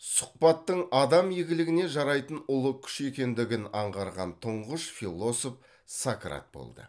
сұхбаттың адам игілігіне жарайтын ұлы күш екендігін аңғарған тұңғыш философ сократ болды